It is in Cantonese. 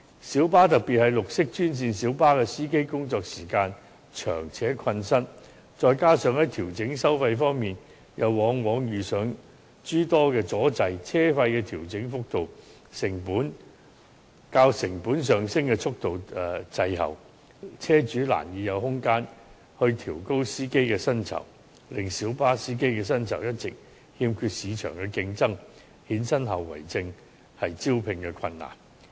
小巴司機，特別是綠色專線小巴的司機工作時間長且困身，再加上在調整收費方面又往往遇上諸多阻滯，車費的調整幅度較成本上升的速度滯後，車主難以有空間調高司機的薪酬，令小巴司機的薪酬一直欠缺市場競爭力，衍生的後遺症便是招聘困難。